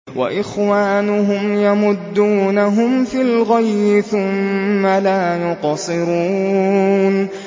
وَإِخْوَانُهُمْ يَمُدُّونَهُمْ فِي الْغَيِّ ثُمَّ لَا يُقْصِرُونَ